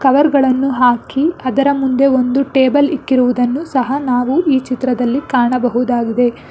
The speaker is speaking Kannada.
ಕವರ್ ಗಳನ್ನು ಹಾಕಿ ಅದರ ಮುಂದೆ ಒಂದು ಟೇಬಲ್ ಇಕ್ಕಿರುವುದನ್ನು ಸಹ ನಾವು ಈ ಚಿತ್ರದಲ್ಲಿ ಕಾಣಬಹುದಾಗಿದೆ.